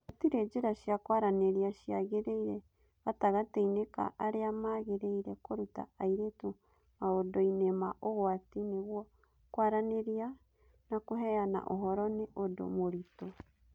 Gũtirĩ njĩra cia kwaranĩria ciagĩrĩire gatagatĩ-inĩ ka arĩa magĩrĩire kũruta airĩtu maũndũ-inĩ ma ũgwati nĩguo kwaranĩria na kũheana ũhoro nĩ ũndũ mũritũ.